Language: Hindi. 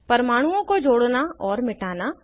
परमाणुओं को जोड़ना और मिटाना